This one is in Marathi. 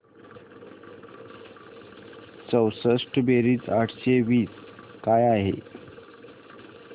चौसष्ट बेरीज आठशे वीस काय आहे